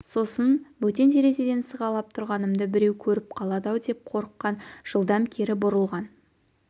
сосын бөтен терезеден сығалап тұрғанымды біреу көріп қалады-ау деп қорыққан жылдам кері бұрылған